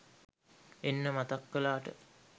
එන්න මතක් කලාට